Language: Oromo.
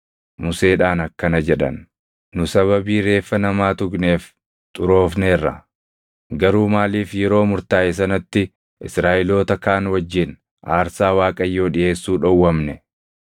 Museedhaan akkana jedhan; “Nu sababii reeffa namaa tuqneef xuroofneerra; garuu maaliif yeroo murtaaʼe sanatti Israaʼeloota kaan wajjin aarsaa Waaqayyoo dhiʼeessuu dhowwamne?”